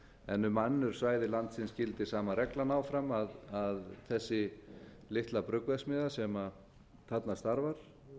en um önnur svæði landsins gildir sama reglan áfram að þessi litla bruggverksmiðja sem þarna starfar